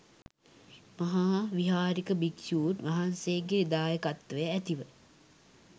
මහා විහාරික භික්‍ෂූන් වහන්සේගේ දායකත්වය ඇතිව